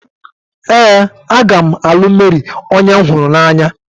Ee, a ga m Mary onye hụrụ m n'anya.